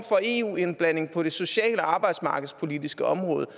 eu indblanding på det sociale arbejdsmarkedspolitiske område og